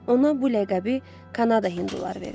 Ona bu ləqəbi Kanada hinduları verib.